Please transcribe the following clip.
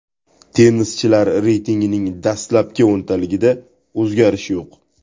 Tennischilar reytingining dastlabki o‘ntaligida o‘zgarish yo‘q.